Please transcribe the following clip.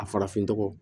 A farafin nɔgɔ